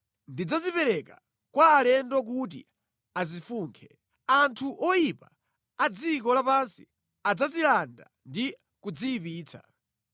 Ndidzazipereka kwa alendo kuti azifunkhe. Anthu oyipa a dziko lapansi adzazilanda ndi kudziyipitsa.